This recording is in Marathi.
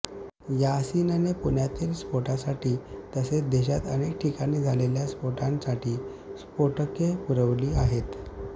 यासीनने पुण्यातील स्फोटासाठी तसेच देशात अनेक ठिकाणी झालेल्या स्फोटांसाठी स्फोटके पुरविली आहेत